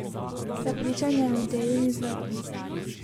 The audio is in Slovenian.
Prepričan je o ideji in izvedbi.